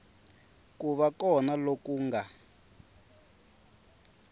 ku va kona loku nga